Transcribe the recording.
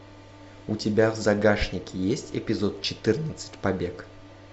у тебя в загашнике есть эпизод четырнадцать побег